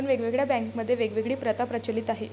पण वेगवेगळ्या बँकामध्ये वेगवेगळी प्रथा प्रचलीत आहे.